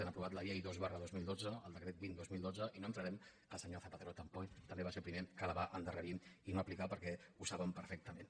han aprovat la llei dos dos mil dotze el decret vint dos mil dotze i no entrarem al fet que el senyor zapatero també va ser el primer que la va endarrerir i no aplicar perquè ho saben perfectament